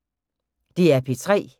DR P3